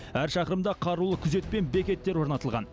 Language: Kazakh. әр шақырымда қарулы күзет пен бекеттер орнатылған